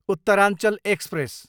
Uttaranchal express